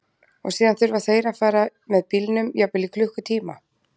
Og síðan þurfa þeir að fara með bílnum jafnvel í klukkutíma?